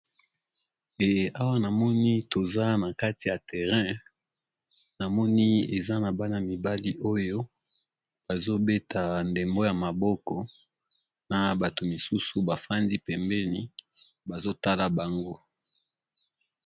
Nde ,awa namoni toza na kati ya terrain namoni eza na bana mibali oyo bazobeta ndembo ya maboko na bato mosusu bafandi pembeni bazotala bango.